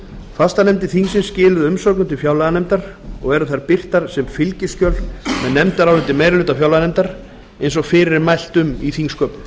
fastanefndir þingsins skiluðu umsögnum til fjárlaganefndar og eru þær birtar sem fylgiskjöl með nefndaráliti meiri hluta fjárlaganefndar eins og fyrir er mælt um í þingsköpum